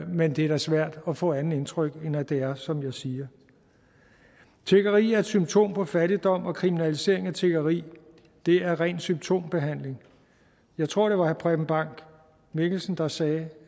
men det er da svært at få et andet indtryk end at det er som jeg siger tiggeri er et symptom på fattigdom og kriminalisering af tiggeri er ren symptombehandling jeg tror det var preben bang mikkelsen der sagde